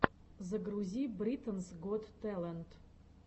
загрузи британс гот тэлэнт